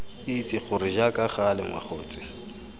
itse gore jaaka gale mogatse